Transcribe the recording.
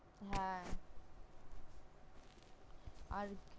হ্যা আর